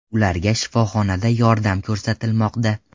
Ularga shifoxonada yordam ko‘rsatilmoqda.